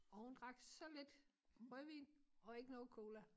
Og hun drak så lidt rødvin og ikke noget cola